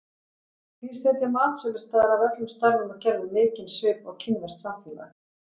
Því setja matsölustaðir af öllum stærðum og gerðum mikinn svip á kínverskt samfélag.